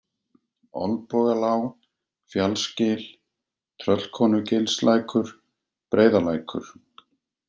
Olnbogalág, Fjallsgil, Tröllkonugilslækur, Breiðalækur